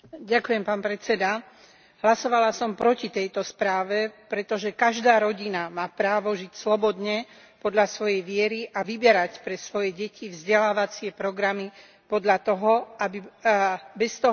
Hlasovala som proti tejto správe, pretože každá rodina má právo žiť slobodne podľa svojej viery a vyberať pre svoje deti vzdelávacie programy bez toho, aby bola diskriminovaná.